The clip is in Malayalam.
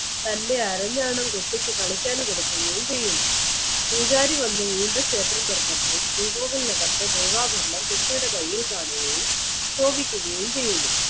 തൻറെ അരഞ്ഞാണം കുട്ടിക്ക് കളിക്കാൻ കൊടുക്കുകയും ചെയ്യുന്നു പൂജാരി വന്നു വീണ്ടും ക്ഷേത്രം തുറന്നപ്പോൾ ശ്രീകോവിൽ നഖത്തെ ദേവാഗ്രഹം കുട്ടിയുടെ കയ്യിൽ കാണുകയും ശോഭിക്കുകയും ചെയ്യുന്നു